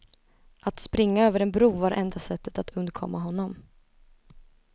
Att springa över en bro var enda sättet att undkomma honom.